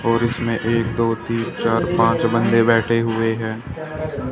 और इसमें एक दो तीन चार पांच बंदे बैठे हुए हैं।